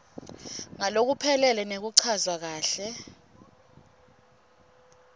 ngalokuphelele nekuchazwa kahle